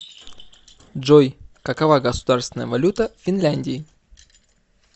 джой какова государственная валюта в финляндии